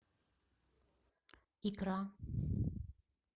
икра